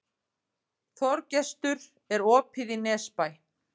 Þorgestur, er opið í Nesbæ?